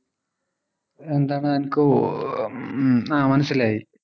എന്താണ് എനിക്ക് ഓഹ് ഹും ആഹ് മനസ്സിലായി